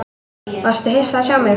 Varstu hissa að sjá mig?